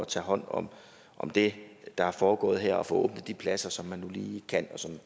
tage hånd om om det der er foregået her og få de pladser som man nu lige kan og